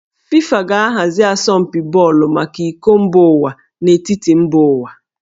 FIFA ga-ahazi asọmpi bọọlụ maka iko mba ụwa n'etiti mba ụwa